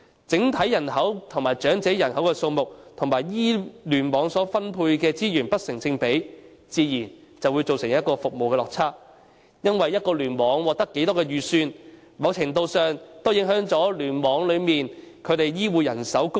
整體人口及長者人口數目與聯網所獲分配的資源不成正比，自然會造成服務的落差，因為一個聯網獲得多少撥款，某程度上會影響該聯網內的醫護人手供應。